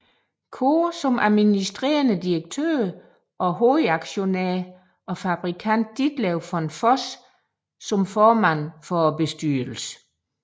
Cohr som administrerende direktør og hovedaktionær og fabrikant Ditlev von Voss som formand for bestyrelsen